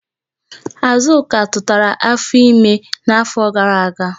Azụka tụtara afọ ime n'afọ gara aga.